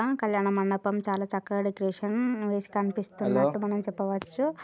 ఆ ఆ కల్యాణ మండపం చాలా చక్కగా డీకేరెట్ చేసి కనిపిస్తుంది అని మనము చెప్పవచు.